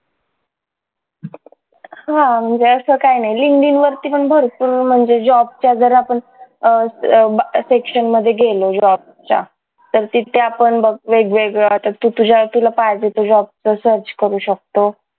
हा म्हणजे असं काही नाही linkedin वरती पण भरपूर म्हणजे job च्या जर आपण अं अह section मध्ये गेलो job च्या तर तिथे आपण बघ वेग वेगळं आता तू तुझ्या तुला पाहिजे तो job search करू शकतो